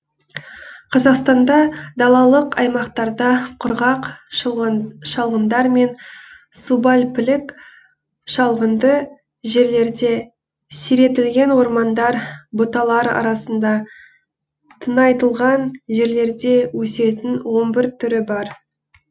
қазақстанда далалық аймақтарда құрғақ шалғындар мен субальпілік шалғынды жерлерде сиретілген ормандар бұталар арасында тыңайтылған жерлерде өсетін он бір түрі бар